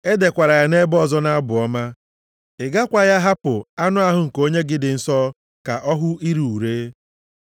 E dekwara ya nʼebe ọzọ nʼabụ ọma, “ ‘Ị gakwaghị ahapụ anụ ahụ nke Onye gị dị nsọ ka ọ hụ ire ure.’ + 13:35 \+xt Abụ 16:10\+xt*